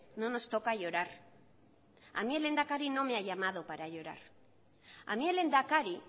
no nos toca llorar a mí el lehendakari no me ha llamado para llorar a mí el lehendakari